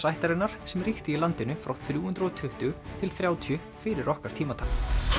ættarinnar sem ríkti í landinu frá þrjú hundruð og tuttugu til þrjátíu fyrir okkar tímatal